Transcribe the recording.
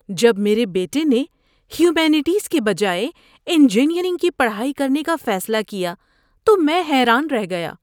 جب میرے بیٹے نے ہیومینٹیز کے بجائے انجینئرنگ کی پڑھائی کرنے کا فیصلہ کیا تو میں حیران رہ گیا۔